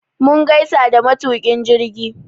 Mun gaisa da matuƙin jirgi